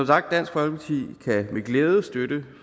sagt dansk folkeparti kan med glæde støtte